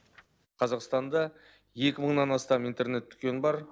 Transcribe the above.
қазақстанда екі мыңнан астам интернет дүкен бар